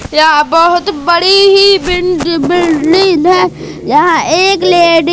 यहां बहोत बड़ी ही बिंन बिल्डिंन है यहां एक लेडी --